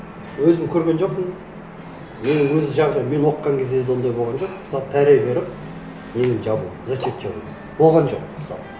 өзім көрген жоқпын мен өз мен оқыған кезде де ондай болған жоқ мысалы пара беріп нені жабу зачет жабу болған жоқ мысалы